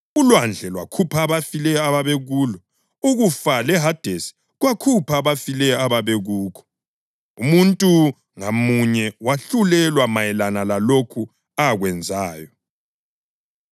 Ulwandle lwakhupha abafileyo ababekulo, ukufa leHadesi kwakhupha abafileyo ababekukho, umuntu ngamunye wahlulelwa mayelana lalokho akwenzayo.